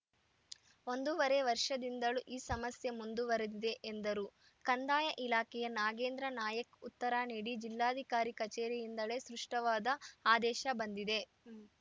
ಒಂದೂವರೆ ವರ್ಷದಿಂದಲೂ ಈ ಸಮಸ್ಯೆ ಮುಂದುವರಿದಿದೆ ಎಂದರು ಕಂದಾಯ ಇಲಾಖೆಯ ನಾಗೇಂದ್ರ ನಾಯಕ್‌ ಉತ್ತರ ನೀಡಿ ಜಿಲ್ಲಾಧಿಕಾರಿ ಕಚೇರಿಯಿಂದಲೇ ಸೃಷ್ಟವಾದ ಆದೇಶ ಬಂದಿದೆ